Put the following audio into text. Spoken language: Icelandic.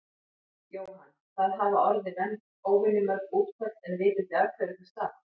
Jóhann: Það hafa orði óvenju mörg útköll en vitið þið af hverju það stafar?